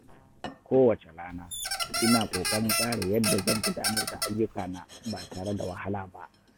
Kowace rana, ina ƙoƙarin tsara yadda zan gudanar da ayyukana ba tare da wahala ba.